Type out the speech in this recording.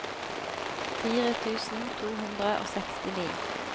fire tusen to hundre og sekstini